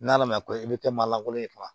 N'ala ma ko i bɛ kɛ maa langolo ye